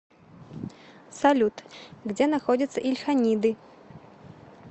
салют где находится ильханиды